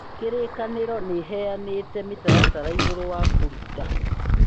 kĩrĩkanĩro nĩ ĩheyanĩte mĩtaratara igũru rĩa kũruta